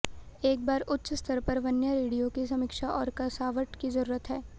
एक बार उच्च स्तर पर वन्या रेडियो की समीक्षा और कसावट की जरूरत है